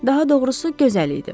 Daha doğrusu, gözəl idi.